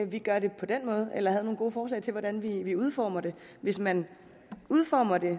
vi gør det på den måde eller havde nogle gode forslag til hvordan vi vi udformede det hvis man udformer det